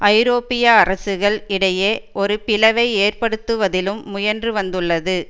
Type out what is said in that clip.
ஐரோப்பிய அரசுகள் இடையே ஒரு பிளவை ஏற்படுத்துவதிலும் முயன்று வந்துள்ளது